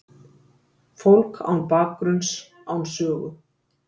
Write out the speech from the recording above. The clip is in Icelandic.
Fólk án bakgrunns, án sögu.